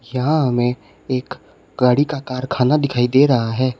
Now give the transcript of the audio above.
यहां हमें एक गाड़ी का कारखाना दिखाई दे रहा है।